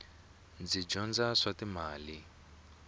ndzi dyondza swa timali